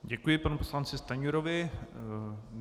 Děkuji panu poslanci Stanjurovi.